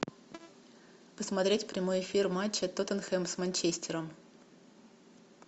посмотреть прямой эфир матча тоттенхэм с манчестером